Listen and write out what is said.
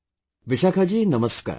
Vishakha ji, Namaskar